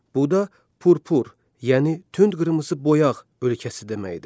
Bu da purpur, yəni tünd qırmızı boyaq ölkəsi deməkdir.